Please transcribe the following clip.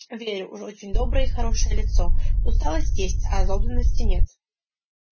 верю уж очень доброе и хорошее лицо усталость есть а озлобленности нет